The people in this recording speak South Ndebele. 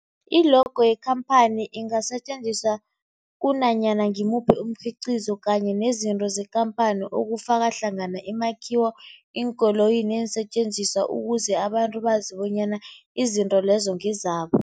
I-logo yekhamphani ingasetjenziswa kunanyana ngimuphi umkhiqizo kanye nezinto zekhamphani okufaka hlangana imakhiwo, iinkoloyi neensentjenziswa ukuze abantu bazi bonyana izinto lezo ngezabo.